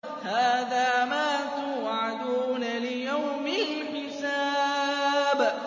هَٰذَا مَا تُوعَدُونَ لِيَوْمِ الْحِسَابِ